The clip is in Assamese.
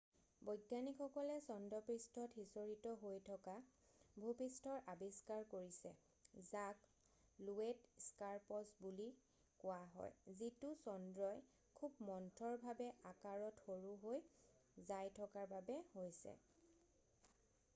বৈজ্ঞানিকসকলে চন্দ্ৰপৃষ্ঠত সিঁচৰতি হৈ থকা ভূপৃষ্ঠৰ আবিষ্কাৰ কৰিছে যাক লোৱেট স্কাৰপছ বুলি কোৱা হয় যিতো চন্দ্ৰই খুৱ মন্থৰভাৱে আকাৰত সৰু হৈ যাই থকাৰ বাবে হৈছে